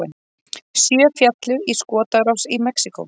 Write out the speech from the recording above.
Sjö féllu í skotárás í Mexíkó